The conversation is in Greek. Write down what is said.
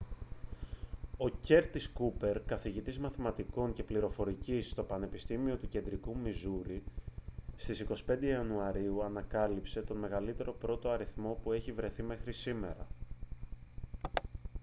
ο κέρτις κούπερ καθηγητής μαθηματικών και πληροφορικής στο πανεπιστήμιο του κεντρικού μιζούρι στις 25 ιανουαρίου ανακάλυψε τον μεγαλύτερο πρώτο αριθμό που έχει βρεθεί μέχρι σήμερα